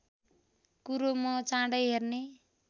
कुरो म चाँडै हेर्ने